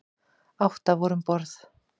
Átta voru um borð.